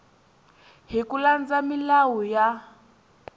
hi ku landza milawu ya